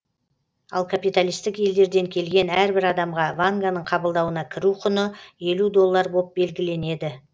ал капиталистік елдерден келген әрбір адамға ванганың қабылдауына кіру құны елу доллар боп белгіленеді